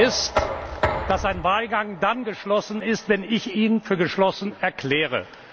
Die Regel ist, dass ein Wahlgang dann geschlossen ist, wenn ich ihn für geschlossen erkläre.